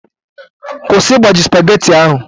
Kwụsị igbaji spageti ahụ!